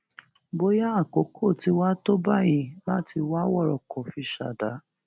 bóyá àkókò tí wàá tó báyìí láti wá wọrọkọ fi ṣàdá